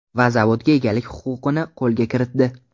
Va zavodga egalik huquqini qo‘lga kiritdi.